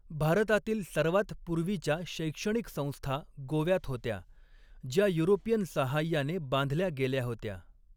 भारतातील सर्वात पूर्वीच्या शैक्षणिक संस्था गोव्यात होत्या, ज्या युरोपियन सहाय्याने बांधल्या गेल्या होत्या.